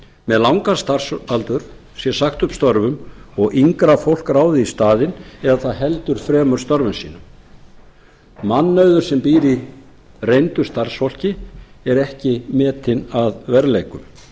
með langan starfsaldur sé sagt upp störfum og yngra fólk ráðið í staðinn eða það heldur fremur störfum sínum mannauður sem býr í reyndu starfsfólki er ekki metinn að verðleikum en